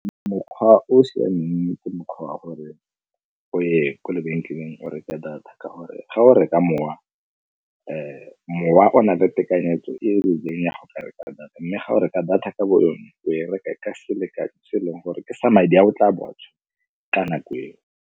Mokgwa o o siameng ke mokgwa wa gore o ye ko lebenkeleng o reka data, ka gore ga o reka mowa, mowa o na le tekanyetso e e rileng ya go ka reka data, mme ga o reka data ka bo yona o e reka e ka selekano se e leng gore ke sa madi a o tla bo o a tshwere ka nako eo.